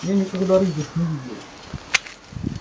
я никогда рыжих не видел